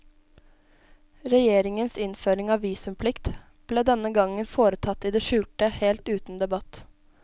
Regjeringas innføring av visumplikt ble denne gangen foretatt i det skjulte, helt uten debatt.